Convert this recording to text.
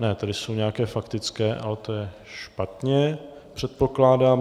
Ne, tady jsou nějaké faktické, ale to je špatně, předpokládám.